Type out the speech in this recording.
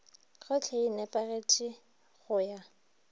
gohle e nepagetše go ya